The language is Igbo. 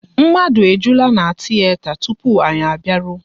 Mmadụ ejulaa na tiyeta tupu anyị a bịaruo